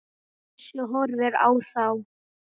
Bjössi horfir á þá.